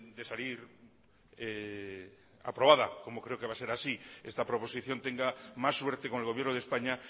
de salir aprobada como creo que va a ser así esta proposición tenga más suerte con el gobierno de españa